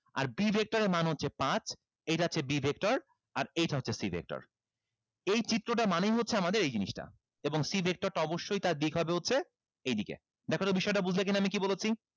আর b vector এর মান হচ্ছে পাঁচ এইটা হচ্ছে b vector আর এইটা হচ্ছে c vector এই চিত্রটা মানেই হচ্ছে আমাদের এই জিনিসটা এবং c vector টা অবশ্যই তার দিক হবে হচ্ছে এইদিকে দেখো তো জিনিসটা বুঝলা কিনা আমি কি বলেছি